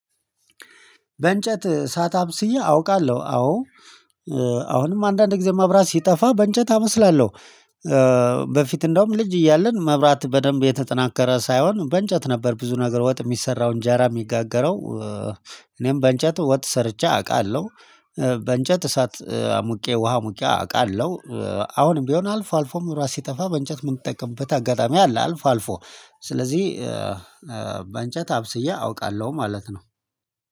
በእንጨት እሳት አብስዬ አውቃለሁ አዎ አሁንም አንዳንድ ጊዜ መብራት ሲጠፋ በእንጨት አበስላለሁ። በፊት እንደውም ልጅ እያለን መብራት በደንብ የተጠናከረ ሳይሆን በእንጨት ነበር ብዙ ነገር ወጥ የሚሰራውን እንጀራ የሚጋገረው እኔም በእንጨት ወጥ ሰርቼ አውቃለሁ። በእንጨት እሳት ሙቄ ውሃ አሙቄ አውቃለሁ። አሁንም ቢሆን አልፎ አልፎም መብራት ሲጠፋ በእንጨት የምንጠቅምበት አጋጣሚ አለ አልፎ አልፎ። ስለዚህ በእንጨት አብስዬ አውቃለሁ ማለት ነው